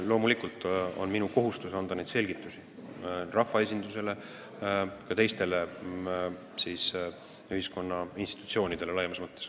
Loomulikult on minu kohustus selgitada seda rahvaesindusele ja ka teistele ühiskonna institutsioonidele laiemas mõttes.